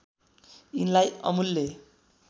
यिनलाई अमूल्य